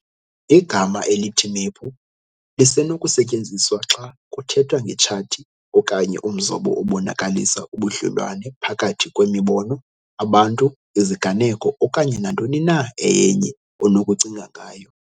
Igama elithi "mephu" lisenokusetyenziswa xa kuthethwa ngetshathi okanye umzobo obonakalisa ubudlelwane phakathi kwemibono, abantu, iziganeko, okanye nantoni na eyenye onokucinga ngayo.